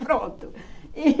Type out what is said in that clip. Pronto.